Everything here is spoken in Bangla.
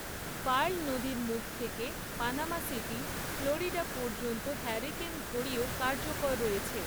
পার্ল নদীর মুখ থেকে পানামা সিটি, ফ্লোরিডা পর্যন্ত হারিকেন ঘড়িও কার্যকর রয়েছে।